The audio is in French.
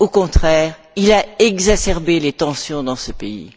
Au contraire, il a exacerbé les tensions dans ce pays.